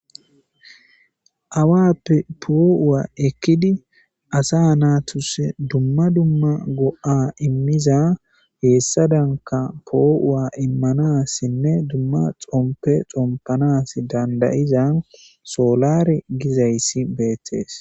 awappe poo7uwa ekkidi asa naatuse dumma dumma go7a immiza heessadanka poo7uwa immanassinne dumma xompe xompanas dandayizan soolare gizayssi beettees